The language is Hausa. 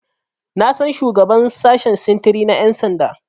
Na san shugaban sashen sintiri na Ƴan sanda.